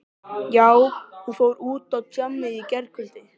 Já, hún fór út á djammið í gærkvöldi.